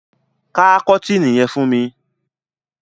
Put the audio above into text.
Ká kọ́tìnì yẹn fún mi!